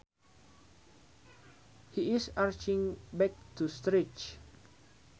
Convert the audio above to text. He is arching back to stretch